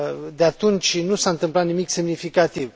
De atunci nu s a întâmplat nimic semnificativ.